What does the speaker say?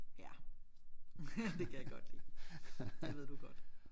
Ja det kan jeg godt lide det ved du godt